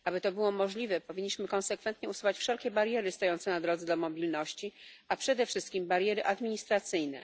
Aby to było możliwe, powinniśmy konsekwentnie usuwać wszelkie bariery stojące na drodze do mobilności, a przede wszystkim bariery administracyjne.